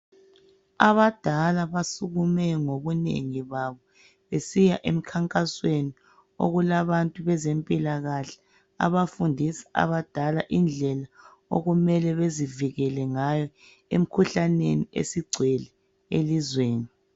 Abadala basukume ngobunengi babo. Besiya emkhankasweni, okulabantu bezempilakahle, abafundisa abadala indlela okumele bezivikele ngayo, emkhuhlaneni esigcwele elizweni.